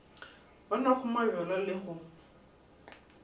ba nwago mabjala le go